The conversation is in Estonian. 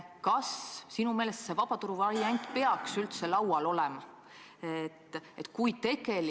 Kas sinu meelest peaks see vabaturu variant üldse laual olema?